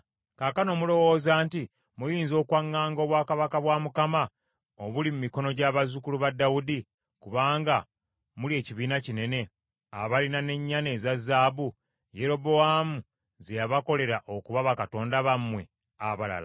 “Kaakano mulowooza nti muyinza okwaŋŋanga obwakabaka bwa Mukama obuli mu mikono gy’abazzukulu ba Dawudi, kubanga muli ekibiina kinene, abalina n’ennyana eza zaabu Yerobowaamu ze yabakolera okuba bakatonda bammwe abalala?